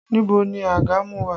Níbo ni àgàmú wà?